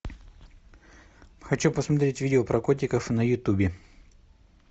хочу посмотреть видео про котиков на ютубе